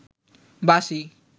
বাঁশি